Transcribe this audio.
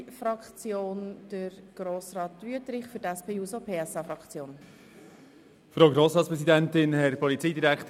Die Antragsteller zum Antrag Siegenthaler/Bichsel und auch den Kommissionspräsidenten haben wir bereits gehört.